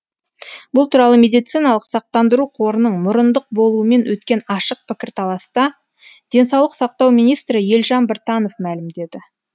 бұл туралы медициналық сақтандыру қорының мұрындық болуымен өткен ашық пікірталаста денсаулық сақтау министрі елжан біртанов мәлімдеді